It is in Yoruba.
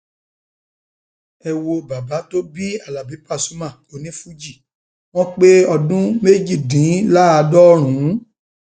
ẹ wo bàbá tó bí alábi pasuma onífuji wọn pé ọdún méjìdínláàádọrùn